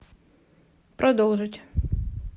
продолжить